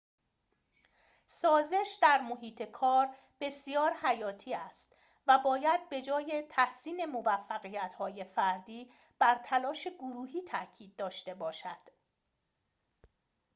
سازش در محیط کار بسیار حیاتی است و باید به‌جای تحسین موفقیت‌های فردی بر تلاش گروهی تأکید داشته باشد